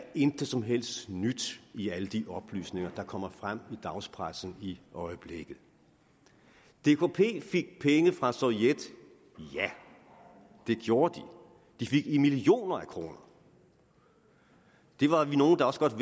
intet som helst nyt i alle de oplysninger der kommer frem i dagspressen i øjeblikket dkp fik penge fra sovjet ja det gjorde de de fik millioner af kroner det var vi nogle der også godt